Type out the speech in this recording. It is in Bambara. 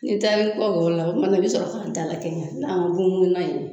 N taara kɔ la o tuma na i bi sɔrɔ k'an dalakɛɲɛ